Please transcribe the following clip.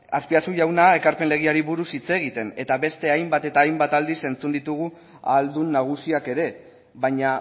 azpiazu jauna ekarpen legeari buruz hitz egiten eta beste hainbat eta hainbat aldiz entzun ditugu ahaldun nagusiak ere baina